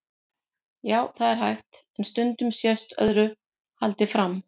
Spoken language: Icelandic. Já, það er hægt, en stundum sést öðru haldið fram.